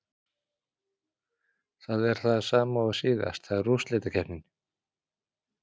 Það er það sama og síðast, það er úrslitakeppnin.